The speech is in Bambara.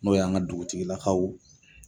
N'o y'an ka dugutigilakaw